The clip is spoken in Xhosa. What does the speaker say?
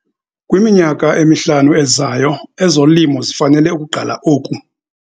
Kwiminyaka emihlanu ezayo ezolimo zifanele ukugqala oku.